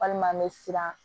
Walima an bɛ siran